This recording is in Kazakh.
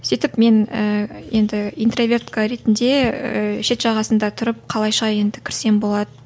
сөйтіп мен ііі енді интровертка ретінде шет жағасында тұрып қалайша енді кірсем болады